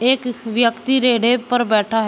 एक व्यक्ति रेडे पर बैठा है।